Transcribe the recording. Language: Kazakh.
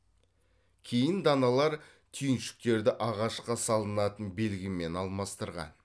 кейін даналар түйіншектерді ағашқа салынатын белгімен алмастырған